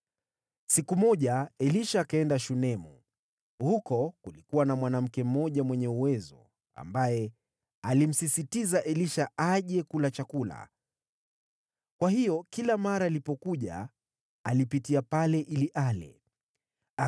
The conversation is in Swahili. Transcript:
Siku moja Elisha akaenda Shunemu. Huko kulikuwa na mwanamke mmoja mwenye cheo, ambaye alimsisitiza Elisha aje kula chakula. Kwa hiyo kila mara alipitia pale, akaingia humo ili ale.